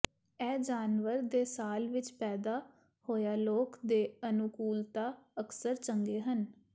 ਇਹ ਜਾਨਵਰ ਦੇ ਸਾਲ ਵਿੱਚ ਪੈਦਾ ਹੋਇਆ ਲੋਕ ਦੇ ਅਨੁਕੂਲਤਾ ਅਕਸਰ ਚੰਗੇ ਹਨ